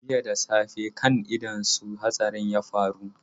Jiya da safe kan ido su hatsarin ya faru.